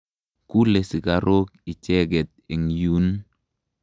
Kule sikarok icheket eng' yun.